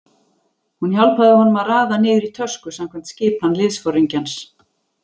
Hún hjálpaði honum að raða niður í tösku samkvæmt skipan liðsforingjans.